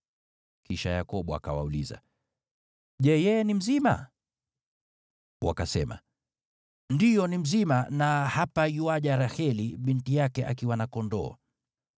Kisha Yakobo akawauliza, “Je, yeye ni mzima?” Wakasema, “Ndiyo, ni mzima, na hapa yuaja Raheli binti yake akiwa na kondoo.”